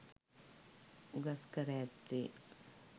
උගස්කර ඇත්තේ